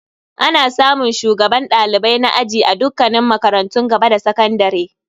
Ana samun shugaban dalibai na aji a dukkanin makarantun gaba da sakandare.